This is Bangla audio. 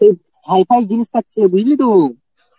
তো ছাইপাশ জিনিস খাচ্ছে বুঝলি তো